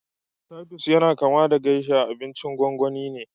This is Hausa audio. Titus yana kama da geisha, abincin gwangwani ne